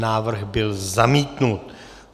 Návrh byl zamítnut.